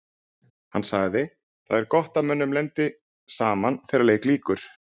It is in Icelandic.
Hann sagði: Það er gott að mönnum lendi saman þegar leik lýkur.